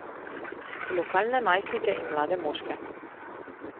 Lokalne najstnike in mlade moške.